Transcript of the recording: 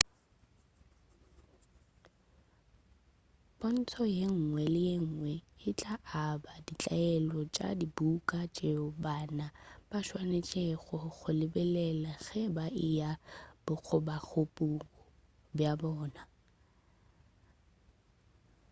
pontšho yenngwe le yenngwe e tla aba ditaelelo tša dibuka tšeo bana ba swanetšego go di lebelela ge ba e ya bokgobapuku bja bona